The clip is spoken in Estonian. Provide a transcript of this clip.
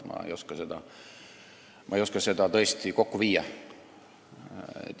Ma ei oska seda tõesti kokku panna.